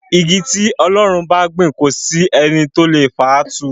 Igi tí Ọlọ́run bá gbìn kò sí ẹni tó lè fà á tú.